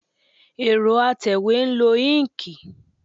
Ẹrọ atẹwe n lo inki